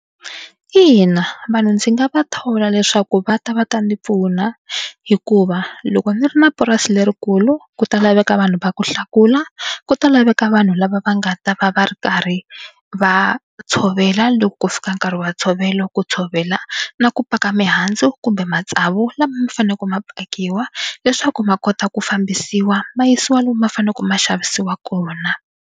Ina vanhu ndzi nga va thola leswaku va ta va ta ni pfuna hikuva loko ni ri na purasi lerikulu ku ta laveka vanhu va ku hlakula, ku ta laveka vanhu lava va nga ta va va ri karhi va tshovela loko ku fika nkarhi wa ntshovelo, ku tshovela na ku paka mihandzu kumbe matsavu lama ma faneleke ma pakiwa leswaku ma kota ku fambisiwa ma yisiwa lomu ma faneleke ma xavisiwa kona.